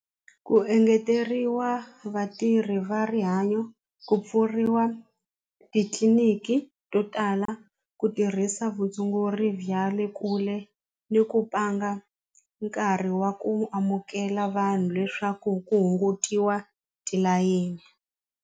Ku engeteriwa vatirhi va rihanyo, ku pfuriwa titliliniki to tala, ku tirhisa vutshunguri bya le kule ni ku pfanga nkarhi wa ku amukela vanhu leswaku ku hungutiwa tilayini.